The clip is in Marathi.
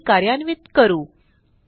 क्वेरी कार्यान्वित करू